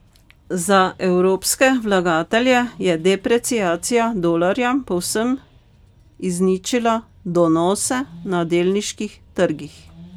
Za evropske vlagatelje je depreciacija dolarja povsem izničila donose na delniških trgih.